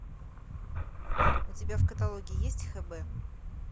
у тебя в каталоге есть хб